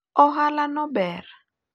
ohala no ber